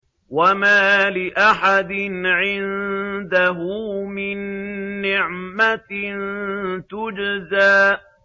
وَمَا لِأَحَدٍ عِندَهُ مِن نِّعْمَةٍ تُجْزَىٰ